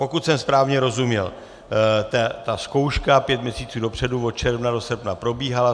Pokud jsem správně rozuměl, ta zkouška pět měsíců dopředu od června do srpna probíhala.